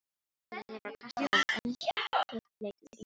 Annað liðið varði kastalann en hitt leitaði inngöngu.